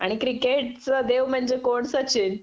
आणि क्रिकेट चा देव म्हंजे कोण सचिन